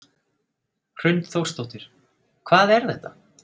Hrund Þórsdóttir: Hvað er þetta?